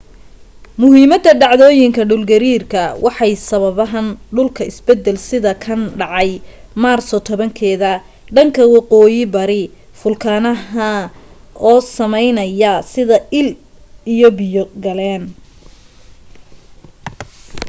muhiimada dhacdooyinka dhul gariirka waxay sababan dhulka isbeddel sida kan dhacay maarso 10 keeda dhanka waqooyi bari fulkanaha oo sameynaya sida il ay biyo galaan